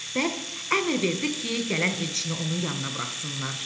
Bəlk əmr verdi ki, gələn elçini onun yanına buraxsınlar.